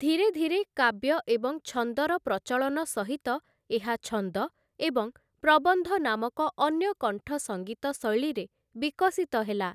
ଧିରେ ଧିରେ, କାବ୍ୟ ଏବଂ ଛନ୍ଦର ପ୍ରଚଳନ ସହିତ ଏହା ଛନ୍ଦ ଏବଂ ପ୍ରବନ୍ଧ ନାମକ ଅନ୍ୟ କଣ୍ଠସଙ୍ଗୀତ ଶୈଳୀରେ ବିକଶିତ ହେଲା ।